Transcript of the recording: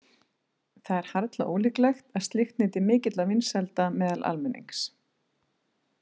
Það er harla ólíklegt að slíkt nyti mikilla vinsælda meðal almennings.